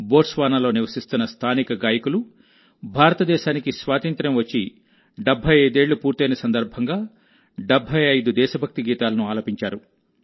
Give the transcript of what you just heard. boats వానాలో నివసిస్తున్న స్థానిక గాయకులు భారతదేశానికి స్వాతంత్ర్యం వచ్చి 75 ఏళ్లు పూర్తయిన సందర్భంగా 75 దేశభక్తి గీతాలను ఆలపించారు